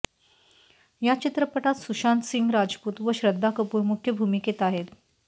या चित्रपटात सुशांत सिंग राजपूत व श्रद्धा कपूर मुख्य भूमिकेत आहेत